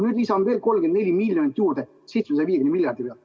Ma lisan veel 34 miljonit 750 miljardi pealt.